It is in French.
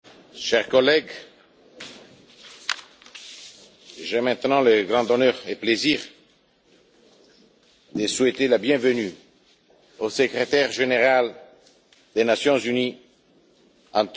Chers collègues, j'ai maintenant le grand honneur et le plaisir de souhaiter la bienvenue au Secrétaire général des Nations unies, M.